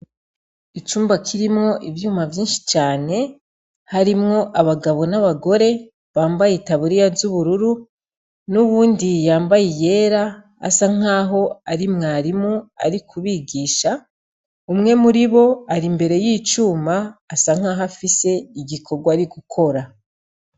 Icumba kirimwo ivyuma vyinshi cane harimwo abagabo n'abagore bambaye itaburiya z'ubururu n'uwundi yambaye iyera asa nkaho ari mwarimu ari kubigisha, umwe muribo ari imbere y'icuma asa nkaho afise igikorwa ari gukora.